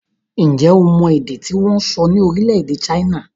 Ǹjẹ́ o mọ èdè tí wọ́n ń sọ ní orílẹ̀-èdè China?